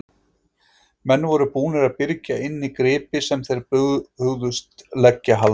Menn voru búnir að byrgja inni gripi sem þeir hugðust leggja hald á.